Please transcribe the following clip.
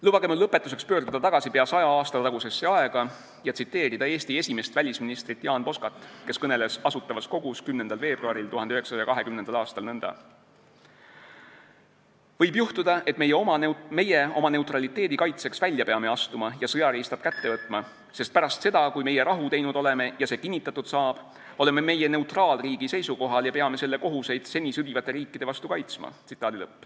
Lubage mul lõpetuseks pöörduda tagasi pea 100 aasta tagusesse aega ja tsiteerida Eesti esimest välisministrit Jaan Poskat, kes kõneles Asutavas Kogus 10. veebruaril 1920 nõnda: "Sest võib juhtuda, et meie oma neutraliteedi kaitseks välja peame astuma ja sõjariistad kätte võtma, sest pärast seda, kui meie rahu teinud oleme ja see kinnitatud saab, oleme meie neutraalriigi seisukohal ja peame selle kohuseid seni sõdivate riikide vastu kaitsma.